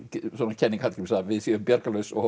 kenning Hallgríms að við séum bjargarlaus og